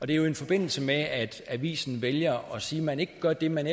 det er jo i forbindelse med at avisen vælger at sige at man ikke gør det man